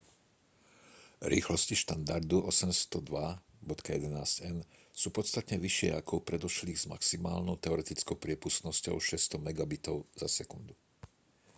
rýchlosti štandardu 802.11n sú podstatne vyššie ako u predošlých s maximálnou teoretickou priepustnosťou 600 mbit/s